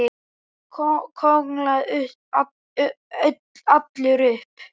Örn kólnaði allur upp.